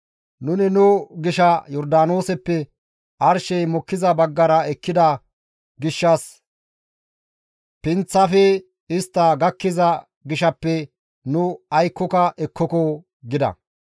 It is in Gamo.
Nuni nu gisha Yordaanooseppe arshey mokkiza baggara ekkida gishshas pinththafe istta gakkiza gishaappe nu aykkoka ekkoko» gida.